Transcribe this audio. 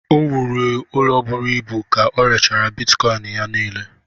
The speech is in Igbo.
O wụlịrị ụlọ bụrụ ịbù ka orèchara Bịtkọin ya nile